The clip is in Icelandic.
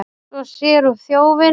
Svo sér hún þjófinn.